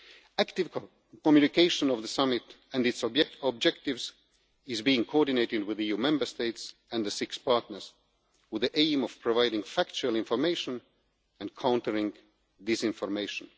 Active communication about the summit and its objectives is being coordinated with EU Member States and the six partners, with the aim of providing factual information and countering disinformation.